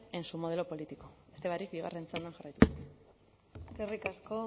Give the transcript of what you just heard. en su modelo político beste barik bigarren txandan jarraituko dut eskerrik asko